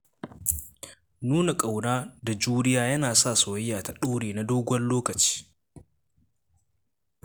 Nuna ƙauna da juriya yana sa soyayya ta ɗore na dogon lokaci.